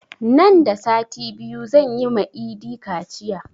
Nan da sati biyu zan yi ma idi kaciya